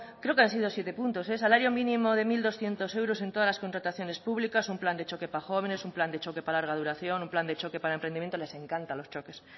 creo que han sido siete puntos salario mínimo de mil doscientos euros en todas las contrataciones públicas un plan de choque para jóvenes un plan de choque para larga duración un plan de choque para emprendimiento les encantan los choques